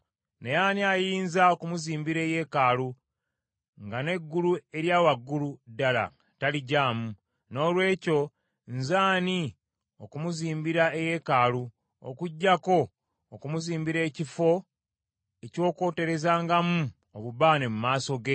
Naye ani ayinza okumuzimbira eyeekaalu, nga n’eggulu erya waggulu ddala taligyamu? Noolwekyo nze ani okumuzimbira eyeekaalu, okuggyako okumuzimbira ekifo eky’okwoterezangamu obubaane mu maaso ge?